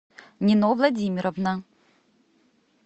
нино владимировна